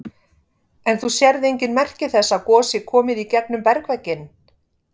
En þú sérð engin merki þess að gos sé komið í gegnum bergvegginn?